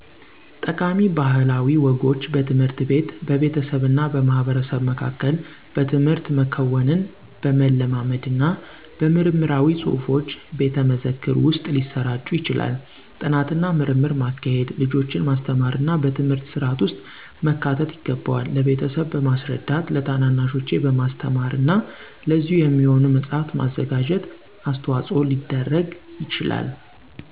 ጠቃሚ ባህላዊ ወጎች በትምህርት ቤት፣ በቤተሰብና በማህበረሰብ መካከል በትምህርት፣ መከወንን በመለማመድና በምርምራዊ ፅሁፎች፣ ቤተመዘክር ውስጥ ሊሰራጩ ይችላሉ። ጥናትና ምርምር ማካሄድ፣ ልጆችን ማስተማርና በትምህርት ስርዓት ውስጥ መካተት ይገባል። ለቤተሰብ በማስረዳት፣ ለታናናሾቼ በማስተማርና ለዚሁ የሚሆን መፅሐፍ በማዘጋጀት አስተዋፆ ሊደርግ ይቻላል።